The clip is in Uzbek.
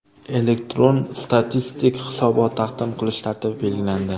Elektron statistik hisobot taqdim qilish tartibi belgilandi .